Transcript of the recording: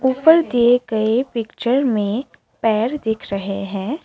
ऊपर के गए पिक्चर में पैर दिख रहे हैं।